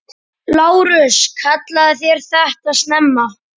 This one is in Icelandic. LÁRUS: Kallið þér þetta snemma?